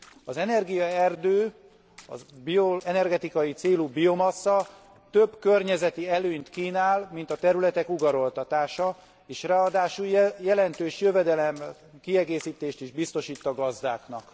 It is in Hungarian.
Az energiaerdő, az energetikai célú biomassza több környezeti előnyt kínál, mint a területek ugaroltatása, és ráadásul jelentős jövedelemkiegészítést is biztosít a gazdáknak.